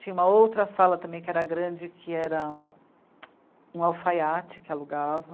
Tinha uma outra sala também que era grande, que era um alfaiate que alugava.